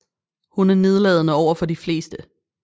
Hun er nedladende overfor de fleste